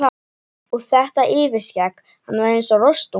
Og þetta yfirskegg, hann var eins og rostungur.